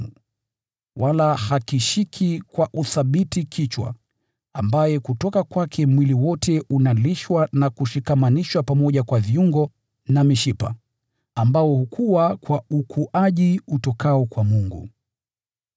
Yeye amepoteza ushirikiano na Kichwa, ambaye kutoka kwake mwili wote unalishwa na kushikamanishwa pamoja kwa viungo na mishipa, nao hukua kwa ukuaji utokao kwa Mungu.